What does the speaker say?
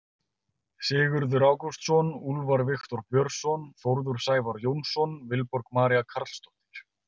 Sigurður Ágústsson, Úlfar Viktor Björnsson, Þórður Sævar Jónsson, Vilborg María Carlsdóttir.